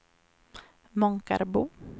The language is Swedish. Månkarbo